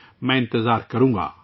میں انتظار کروں گا